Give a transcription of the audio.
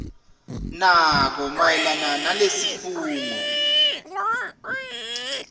nako mayelana nalesifungo